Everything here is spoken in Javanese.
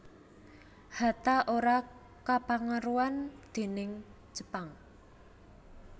Hatta ora kapengaruhan déning Jepang